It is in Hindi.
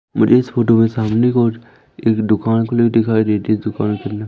मुझे इस फोटो में सामने को ओर एक दुकान खुली हुई दिखाई देती तो कोई --